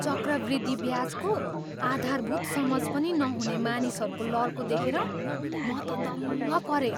चक्रवृद्धि ब्याजको आधारभूत समझ पनि नहुने मानिसहरूको लर्को देखेर म त दङ्ग परेँ।